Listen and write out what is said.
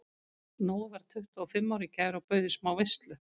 Nói varð tuttugu og fimm í gær og bauð í smá veislu.